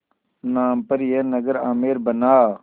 नाम पर यह नगर आमेर बना